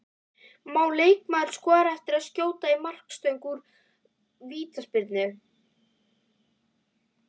Má leikmaður skora eftir að skjóta í markstöng úr vítaspyrnu?